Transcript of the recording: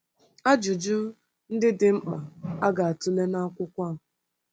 Ajụjụ ndị dị mkpa a ga-atụle n’akwụkwọ a.